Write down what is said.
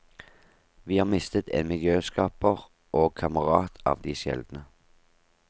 Vi har mistet en miljøskaper og kamerat av de sjeldne.